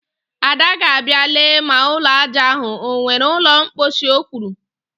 Ada ga-abịa lee ma ụlọ ajá ahụ o nwere ụlọ mkposhi, o kwuru